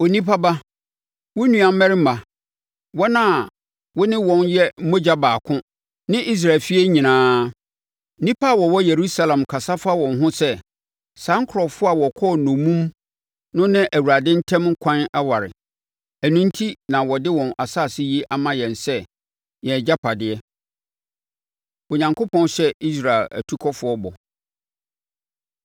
“Onipa ba, wo nua mmarimma, wɔn a wo ne wɔn yɛ mogya baako ne Israel efie nyinaa, nnipa a wɔwɔ Yerusalem kasa fa wɔn ho sɛ, ‘Saa nkurɔfoɔ a wɔkɔɔ nnommum no ne Awurade ntam ɛkwan ware, ɛno enti na wɔde wɔn asase yi ama yɛn sɛ yɛn agyapadeɛ.’ ” Onyankopɔn Hyɛ Israel Atukɔfoɔ Bɔ